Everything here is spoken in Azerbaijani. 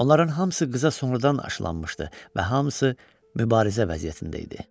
Onların hamısı qıza sonradan aşılanmışdı və hamısı mübarizə vəziyyətində idi.